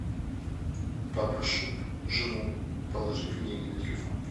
попрошу жену положить мне деньги на телефон